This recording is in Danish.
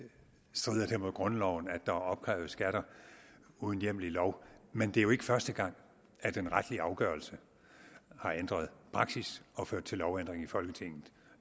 strider det mod grundloven at der er opkrævet skatter uden hjemmel i lov men det er jo ikke første gang at en retlig afgørelse har ændret praksis og ført til lovændring i folketinget